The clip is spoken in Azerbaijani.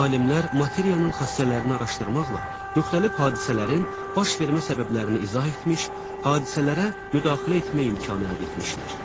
Alimlər materiyanın xassələrini araşdırmaqla müxtəlif hadisələrin baş vermə səbəblərini izah etmiş, hadisələrə müdaxilə etmək imkanı əldə etmişlər.